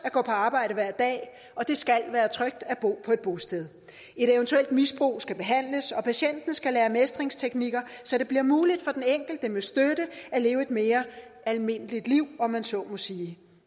at gå på arbejde hver dag og det skal være trygt at bo på et bosted et eventuelt misbrug skal behandles og patienten skal lære mestringsteknikker så det bliver muligt for den enkelte med støtte at leve et mere almindeligt liv om man så må sige